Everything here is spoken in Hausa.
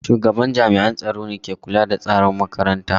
Shugaban jami’an tsaro ne ke kula da tsaron makarantar.